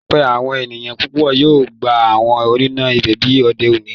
Laipẹ, awọn eniyan pupọ yoo gba awọn ọna igbẹbi ode oni.